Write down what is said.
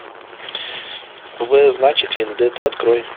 в значит вендетта открой